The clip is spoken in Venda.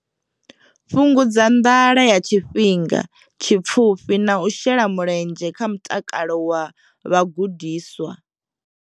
Fhungudza nḓala ya tshifhinga tshipfufhi na u shela mulenzhe kha mutakalo wa vhagudiswa.